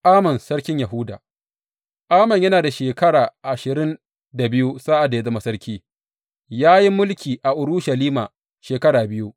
Amon sarki Yahuda Amon yana da shekara ashirin da biyu sa’ad da ya zama sarki, ya yi mulki a Urushalima shekara biyu.